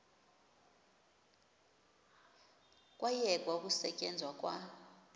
kwayekwa ukusetyenzwa kwa